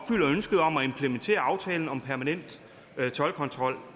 at implementere aftalen om permanent toldkontrol